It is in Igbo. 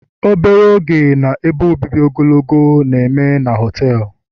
obere oge na ebe obibi ogologo oge na-eme na họtelu